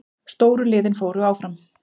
Stóru liðin fóru áfram